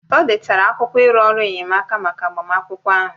O detara akwụkwọ iru ọrụ enyemaka maka agbamakwụkwọ ahụ